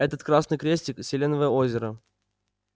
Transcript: этот красный крестик селеновое озеро